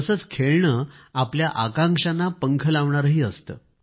तसेच खेळणे आपल्या आकांक्षांना पंख लावणारेही असते